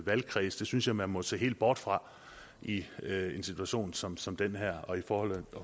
valgkredse synes jeg man må se helt bort fra i en situation som som den her og i forhold